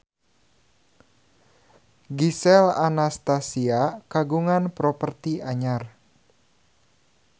Gisel Anastasia kagungan properti anyar